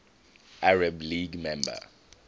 arab league member